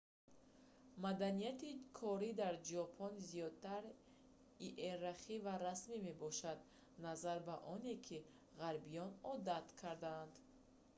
маданияти корӣ дар ҷопон зиёдтар иерархӣ ва расмӣ мебошад назар ба оне ки ғарбиён одат кардаанд